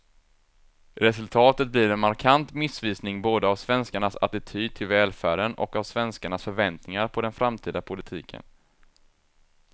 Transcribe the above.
Resultatet blir en markant missvisning både av svenskarnas attityd till välfärden och av svenskarnas förväntningar på den framtida politiken.